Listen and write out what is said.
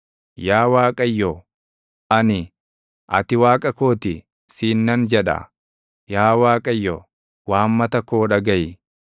Yaa Waaqayyo, ani, “Ati Waaqa koo ti” siin nan jedha. Yaa Waaqayyo, waammata koo dhagaʼi.